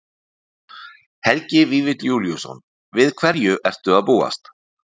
Helgi Vífill Júlíusson: Við hverju ertu að búast?